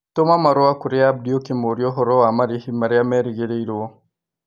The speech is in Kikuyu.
Tũma marũa kũrĩ abdi ũkĩmũũria ũhoro wa marĩhĩ marĩa merĩgĩrĩrũo